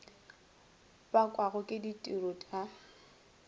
bakwago ke ditiro t a